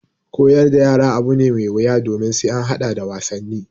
Koyar da yara abu ne mai wuya domin sai an haɗa da wasanni.